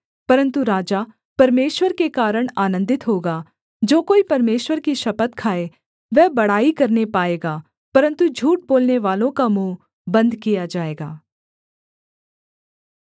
परन्तु राजा परमेश्वर के कारण आनन्दित होगा जो कोई परमेश्वर की शपथ खाए वह बड़ाई करने पाएगा परन्तु झूठ बोलनेवालों का मुँह बन्द किया जाएगा